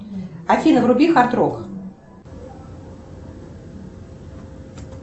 афина вруби хард рок